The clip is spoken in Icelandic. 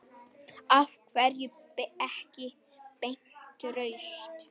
Af hverju ekki beint rautt?